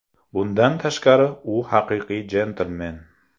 Bundan tashqari, u haqiqiy jentlmen.